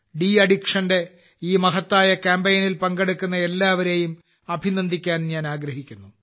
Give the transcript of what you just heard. ഈ മഹത്തായ ലഹരി മുക്ത കാമ്പെയ്നിൽ പങ്കെടുക്കുന്ന എല്ലാവരെയും അഭിനന്ദിക്കാൻ ഞാൻ ആഗ്രഹിക്കുന്നു